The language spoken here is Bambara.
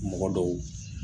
Mɔgɔ don